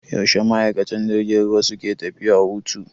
Yaushe ma'aikatan jirgin ruwa suke tafiya hutu?